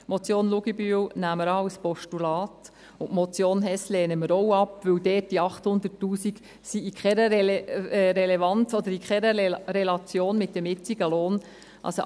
Die Motion Luginbühl nehmen wir als Postulat an, und die Motion Hess lehnen wir auch ab, weil die 800 000 Franken dort in keiner Relation mit dem jetzigen Lohn sind.